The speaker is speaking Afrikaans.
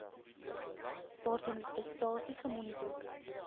waarteen prestasie gemonitor